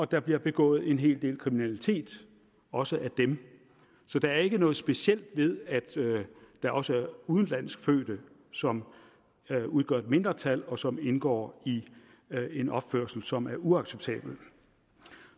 der bliver begået en hel del kriminalitet også af dem så der er ikke noget specielt ved at der også er udenlandsk fødte som udgør et mindretal og som indgår i en opførsel som er uacceptabel